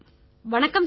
வணக்கம் சார்